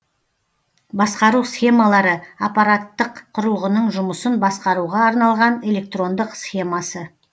басқару схемалары аппараттық құрылғының жұмысын басқаруға арналған электрондық схемасы